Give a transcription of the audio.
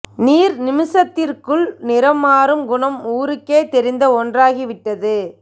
நீர் நிமிஷத்திற்குள் நிறம் மாறும் குணம் ஊருக்கே தெரிந்த ஒன்றாகி விட்டது